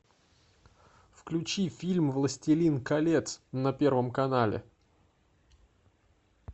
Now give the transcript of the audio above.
включи фильм властелин колец на первом канале